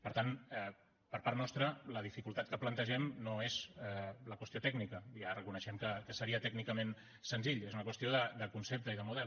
per tant per part nostra la dificultat que plantegem no és la qüestió tècnica ja reconeixem que seria tècnicament senzill és una qüestió de concepte i de model